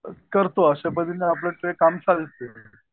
करतो अशा पद्धतीनं आपलं ते काम चालत